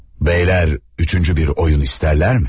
"Beyler, üçüncü bir oyun isterler mi?"